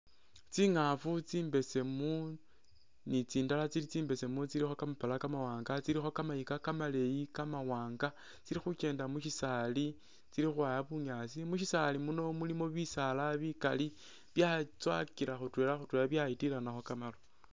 Tsingafu tsimbesemu ni tsindala tsili tsimbesemu tsilikho kamapala kamawanga tsilikho kamayika kamaleyi kamawanga tsili khukyenda mukyisaali tsili khukhwaya bunyasi mushisaali muno mulimo bisaala bikali byatsowakila khutwela khuwela byatilanako kamaru